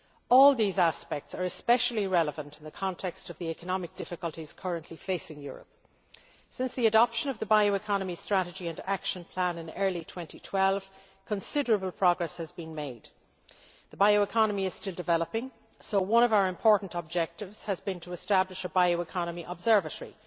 All these aspects are especially relevant in the context of the economic difficulties currently facing Europe. Since the adoption of the bioeconomy strategy and action plan in early 2012, considerable progress has been made. The bioeconomy is still developing, so one of our important objectives has been to establish a Bioeconomy Observatory,